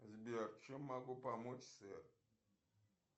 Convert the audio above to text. сбер чем могу помочь сэр